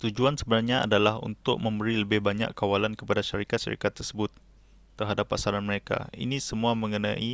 tujuan sebenarnya adalah untuk memberi lebih banyak kawalan kepada syarikat-syarikat tersebut terhadap pasaran mereka ini semua mengenai